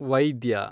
ವೈದ್ಯ